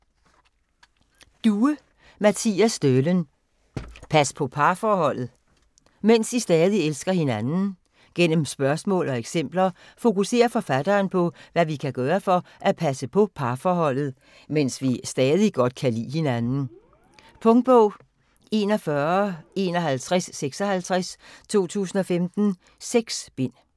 Due, Mattias Stølen: Pas på parforholdet: mens I stadig elsker hinanden Gennem spørgsmål og eksempler fokuserer forfatteren på, hvad vi kan gøre for at passe på parforholdet, mens vi stadig godt kan lide hinanden. Punktbog 415156 2015. 6 bind.